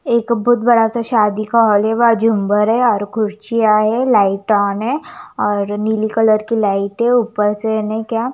एक बहुत बड़ा सा शादी का हॉल हैं वहां झूमर हैं और कुर्सियां हैं लाइट ऑन हैं और नीली कलर की लाइट हैं ऊपर से न क्या--